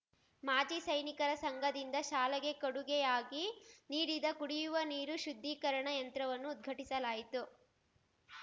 ಮಾಜಿ ಸೈನಿಕರ ಸಂಘದಿಂದ ಶಾಲೆಗೆ ಕೊಡುಗೆಯಾಗಿ ನೀಡಿದ ಕುಡಿಯುವ ನೀರು ಶುದ್ಧೀಕರಣ ಯಂತ್ರವನ್ನು ಉದ್ಘಟಿಸಲಾಯಿತು